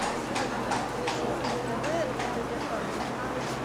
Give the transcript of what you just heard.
включи мне на тв тдк